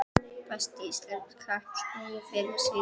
Besti íslenski knattspyrnumaðurinn fyrr og síðar?